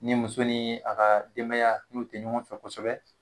Ni muso ni a ka denbaya n'u te ɲɔgɔn fɛ kɔsɔbɛ